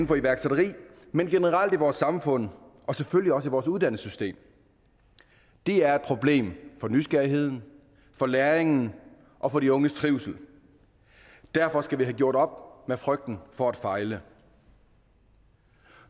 for iværksætteri men generelt i vores samfund og selvfølgelig også i vores uddannelsessystem det er et problem for nysgerrigheden for læringen og for de unges trivsel derfor skal vi have gjort op med frygten for at fejle